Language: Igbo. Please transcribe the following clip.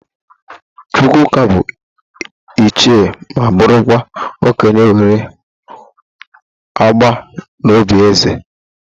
Chukwuka bụ ịchie ma bụrụkwa okenye nwere agba n'òbí ézè.